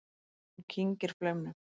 Hún kyngir flaumnum.